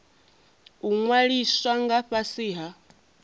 u ṅwaliswa nga fhasi ha